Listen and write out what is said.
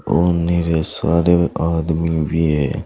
और मेरे सारे आदमी भी हैं।